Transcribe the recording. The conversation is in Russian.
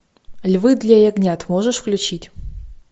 львы для ягнят можешь включить